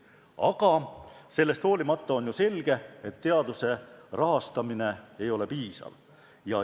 Aga sellest hoolimata on ju selge, et teaduse rahastamine ei ole piisav.